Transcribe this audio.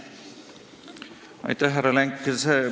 Aitäh, härra Lenk!